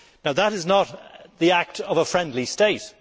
That is not the act of a friendly state.